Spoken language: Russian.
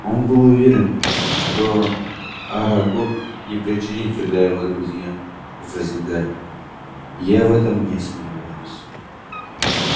он был уверен что арагог не причинит вреда его друзьям возразил гарри я в этом не сомневаюсь